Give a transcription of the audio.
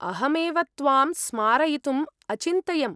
अहमेव त्वां स्मारयितुम् अचिन्तयम्।